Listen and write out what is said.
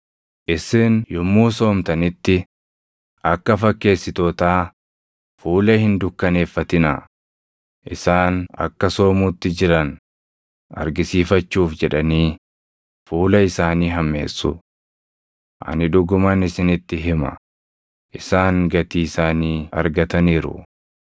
“Isin yommuu soomtanitti akka fakkeessitootaa fuula hin dukkaneeffatinaa; isaan akka soomuutti jiran argisiifachuuf jedhanii fuula isaanii hammeessu. Ani dhuguman isinitti hima; isaan gatii isaanii argataniiru.